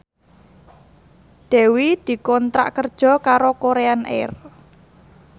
Dewi dikontrak kerja karo Korean Air